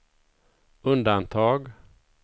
undantag